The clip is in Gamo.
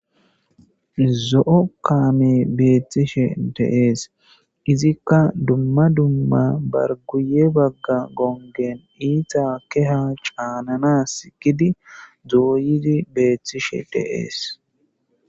Zo'o kame betishe dee's izika duma duma bar guye baga gongen ita keha ca'nanasi gidi betishe dee's